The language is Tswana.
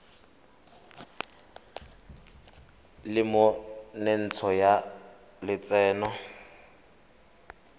le mo tsentsho ya lotseno